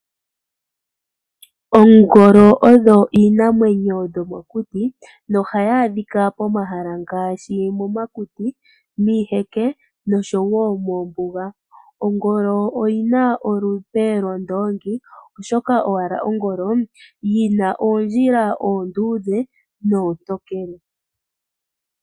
Oongolo odho iinamwenyo yomokuti nohadhi adhika pomahala ngaashi momakuti, miiheke, noshowo moombuga. Ongolo oyi na olupe lwondoongi oshoka owala ongolo yina oondjila oonduudhe noontokele.